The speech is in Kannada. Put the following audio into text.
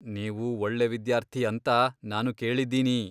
ನೀವು ಒಳ್ಳೆ ವಿದ್ಯಾರ್ಥಿ ಅಂತ ನಾನು ಕೇಳಿದ್ದೀನಿ.